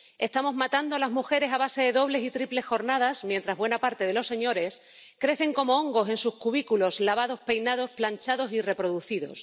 Estamos matando a las mujeres a base de dobles y triples jornadas, mientras buena parte de los señores crecen como hongos en sus cubículos, lavados, peinados, planchados y reproducidos.